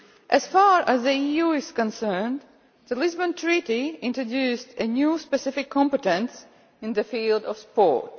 As far as the EU is concerned, the Lisbon Treaty introduced a new specific competence in the field of sport.